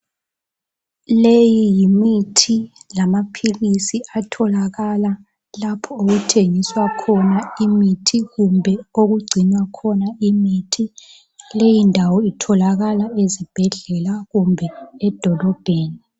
Leyi yimithi lamaphilisi atholakala lapho okuthengiswa khona imithi kumbe okugcinwa khona imithi. Leyi ndawo itholakala ezibhedlela kumbe edolobheni.